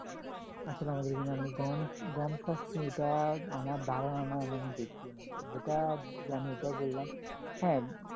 আসলে আমাদের দিকে আমি গম গম চাষ নেই এটা আমার ধারণা নাই আমি এখনো দেখিও নাই যেটা জানি ওইটা বললাম হ্যাঁ